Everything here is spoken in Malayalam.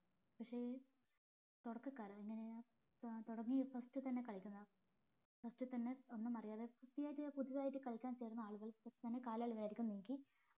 പക്ഷെ ഈ തുടക്കക്കാര് അങ്ങനെ തുടങ്ങിയ first തന്നെ കളിക്കുന്ന first തന്നെ ഒന്നും അറിയാതെ പുതുതായിട്ട് കളിക്കാൻ ചേരുന്ന ആളുകൾ first തന്നെ കാലാളുകളെ നീക്കി